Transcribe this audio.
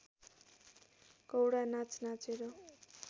कौडा नाच नाचेर